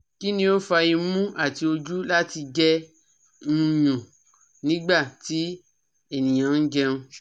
Kini o fa imu ati oju lati jẹ nyún nigba ti eniyan njẹun?